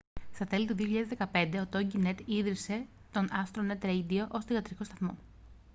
στα τέλη του 2015 ο τόγκινετ ίδρυσε τον άστρονετ ρέιντιο ως θυγατρικό σταθμό